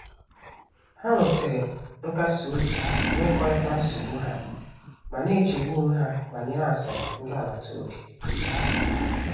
Ha nwetere nkasi obi n’ịkọrịta nsogbu ha, ma na-echegbu onwe ha banyere asịrị ndị agbata obi."